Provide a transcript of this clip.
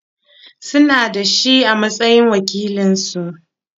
Sun naɗa shi a matsayin wakilinsu.